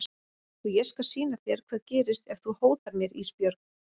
Og ég skal sýna þér hvað gerist ef þú hótar mér Ísbjörg.